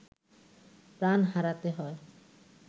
প্রাণ হারাতে হয়